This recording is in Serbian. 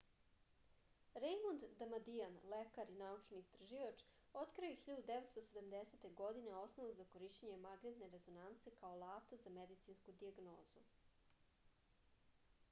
rejmond damadian lekar i naučni istraživač otkrio je 1970. godine osnovu za korišćenje magnetne rezonance kao alata za medicinsku dijagnozu